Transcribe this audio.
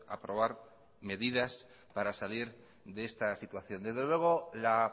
aprobar medidas para salir de esta situación desde luego la